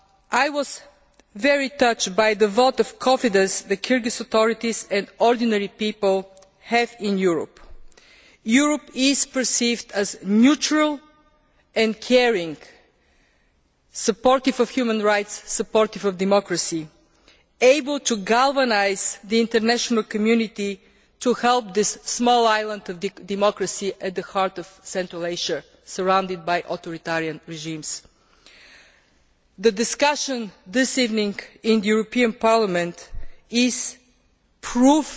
I was very touched by the vote of confidence the Kyrgyz authorities and ordinary people have in Europe. Europe is perceived as neutral and caring, supportive of human rights, supportive of democracy, and able to galvanise the international community to help this small island of democracy at the heart of Central Asia which is surrounded by authoritarian regimes. The discussion this evening in the European Parliament proves